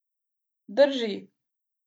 Drži.